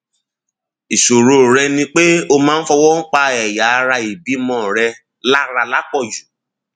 ìṣòro rẹ ni pé o máa ń fọwọ pa ẹyà ara ìbímọ rẹ lára lápò jù